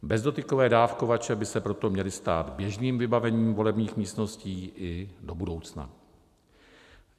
Bezdotykové dávkovače by se proto měly stát běžným vybavením volebních místností i do budoucna.